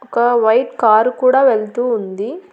ఒక white car కూడా వెళ్తూ ఉంది.